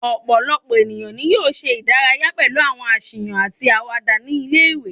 Ọ̀pọ̀lọpọ̀ ènìyàn ni yóò ṣe ìdárayá pẹlu àwọn aṣiwa àti àwàdà ní ilé-ìwé